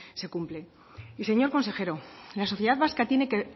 se cumplen y señor consejero la sociedad vasca tiene que